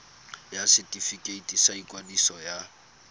ya setefikeiti sa ikwadiso ya